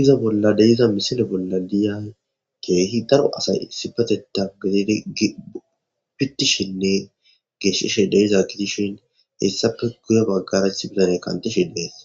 iza bolla deyiza misile bolla diya keehi daro asay sipateta gidid bittishinne geeshishe deiza gidishin hessape guya baggarecth bizane kantishe dees